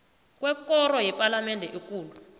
kwekoro yepalamende ekulu